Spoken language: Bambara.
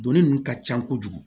Doni ninnu ka ca kojugu